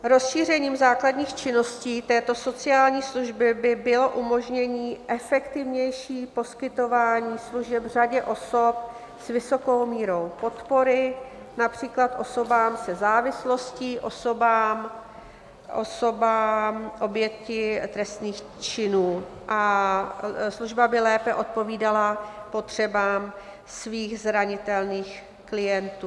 Rozšířením základních činností této sociální služby by bylo umožnění efektivnějšího poskytování služeb řadě osob s vysokou mírou podpory, například osobám se závislostí, osobám obětí trestných činů, a služba by lépe odpovídala potřebám svých zranitelných klientů.